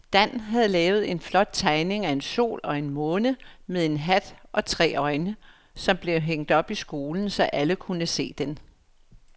Dan havde lavet en flot tegning af en sol og en måne med hat og tre øjne, som blev hængt op i skolen, så alle kunne se den.